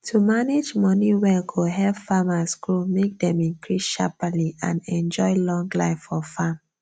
to manage money well go help farmers grow make dem increase shaperly and enjoy long life for farm